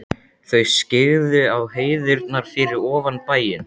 Þau skyggðu á hæðirnar fyrir ofan bæinn.